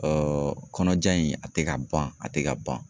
kɔnɔja in, a tɛ ka ban, a tɛ ka ban.